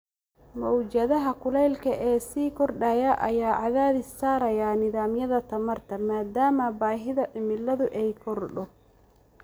Mowjadaha kulaylka ee sii kordhaya ayaa cadaadis saaraya nidaamyada tamarta, maadaama baahida cimiladu ay korodho.